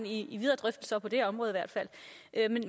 i videre drøftelser på det område